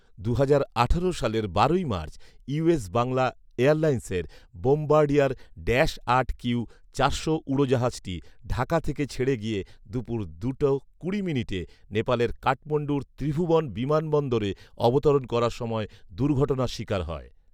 দুহাজার আঠারো সালের বারোই মার্চ ইউএস বাংলা এয়ারলাইন্সের বোমবার্ডিয়ার ড্যাশ আট কিউ চারশো উড়োজাহাজটি ঢাকা থেকে ছেড়ে গিয়ে দুপুর দুটো কুড়ি মিনিটে নেপালে কাঠমাণ্ডুর ত্রিভুবন বিমানবন্দরে অবতরণ করার সময় দুর্ঘটনার শিকার হয়